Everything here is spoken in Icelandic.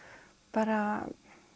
bara